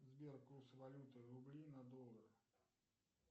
сбер курс валюты рубли на доллары